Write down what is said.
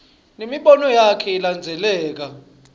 nemibono yakhe ilandzeleka